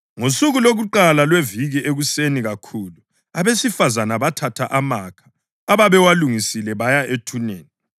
Ngosuku lokuqala lweviki ekuseni kakhulu abesifazane bathatha amakha ababewalungisile baya ethuneni.